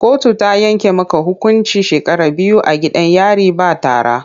Kotu ta yanke maka hukuncin shekara biyu a gidan yari ba tara!